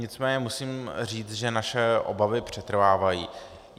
Nicméně musím říct, že naše obavy přetrvávají.